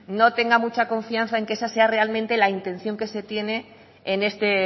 no tenga mucha confianza en que esa sea realmente la intención que se tiene en este